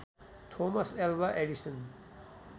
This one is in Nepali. Thomas Alva Edison